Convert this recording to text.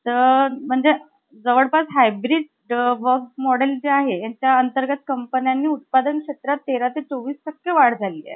पण असेही करून आश्रम बघायला~ बघावा अशी माझी इच्छा आहे. भावाचं मन गलबललं. आईला~ आईलाही मनातून आनंदच झाला.